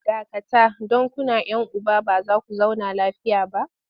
Dakata! don kuna 'yan uba ba za ku zauna lafiya ba!